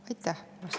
Aitäh!